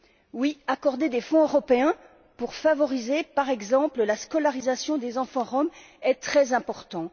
Oui, accorder des fonds européens pour favoriser, par exemple, la scolarisation des enfants roms est très important.